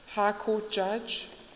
high court judge